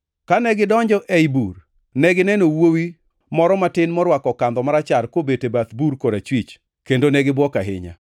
Kane gidonjo ei bur, negineno wuowi moro matin morwako kandho marachar kobet e bath bur korachwich, kendo ne gibuok ahinya.